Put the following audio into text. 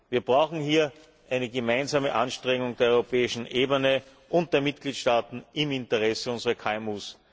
Wir brauchen hier eine gemeinsame Anstrengung der europäischen Ebene und der Mitgliedstaaten im Interesse unserer